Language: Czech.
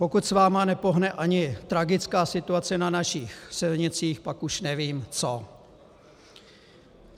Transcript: Pokud s vámi nepohne ani tragická situace na našich silnicích, pak už nevím co.